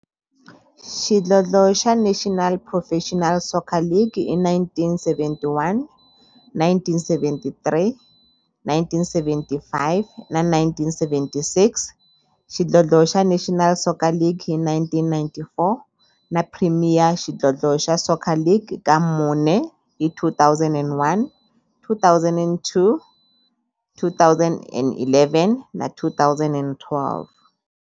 Xidlodlo xa National Professional Soccer League hi 1971, 1973, 1975 na 1976, xidlodlo xa National Soccer League hi 1994, na Premier Xidlodlo xa Soccer League ka mune, hi 2001, 2003, 2011 na 2012.